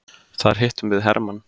Þar hittum við hermann.